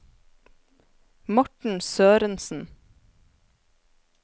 Morten Sørensen